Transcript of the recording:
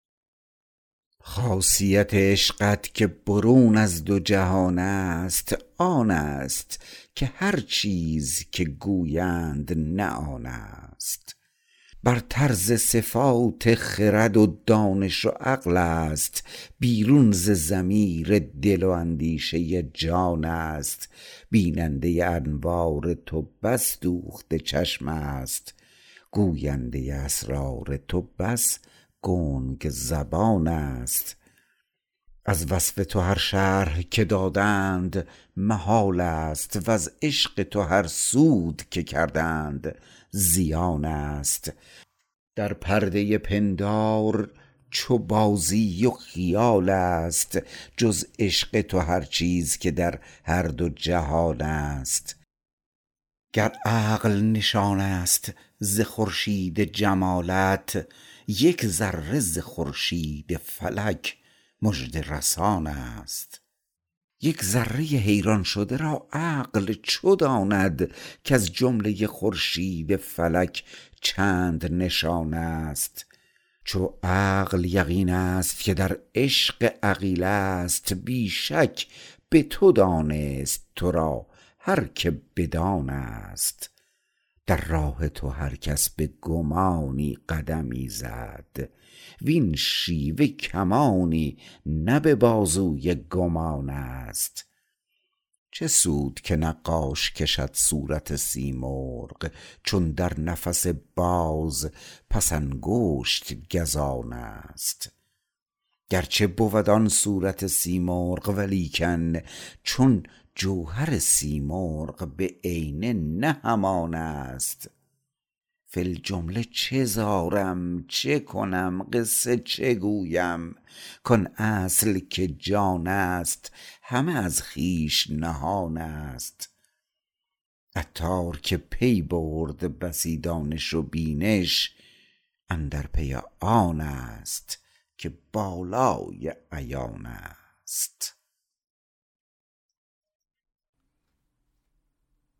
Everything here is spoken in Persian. خاصیت عشقت که برون از دو جهان است آن است که هرچیز که گویند نه آن است برتر ز صفات خرد و دانش و عقل است بیرون ز ضمیر دل و اندیشه جان است بیننده انوار تو بس دوخته چشم است گوینده اسرار تو بس گنگ زبان است از وصف تو هر شرح که دادند محال است وز عشق تو هر سود که کردند زیان است در پرده پندار چو بازی و خیال است جز عشق تو هر چیز که در هر دو جهان است گر عقل نشان است ز خورشید جمالت یک ذره ز خورشید فلک مژده رسان است یک ذره حیران شده را عقل چو داند کز جمله خورشید فلک چند نشان است چو عقل یقین است که در عشق عقیله است بی شک به تو دانست تو را هر که بدان است در راه تو هرکس به گمانی قدمی زد وین شیوه کمانی نه به بازوی گمان است چه سود که نقاش کشد صورت سیمرغ چون در نفس باز پس انگشت گزان است گرچه بود آن صورت سیمرغ ولیکن چون جوهر سیمرغ به عینه نه همان است فی الجمله چه زارم چکنم قصه چه گویم کان اصل که جان است هم از خویش نهان است عطار که پی برد بسی دانش و بینش اندر پی آن است که بالای عیان است